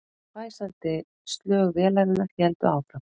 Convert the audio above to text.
Hvæsandi slög vélarinnar héldu áfram